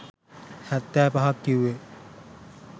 හැත්තෑ පහක් කිව්වේ